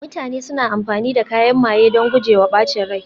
mutane suna amfani da kayan maye don guje wa ɓacin rai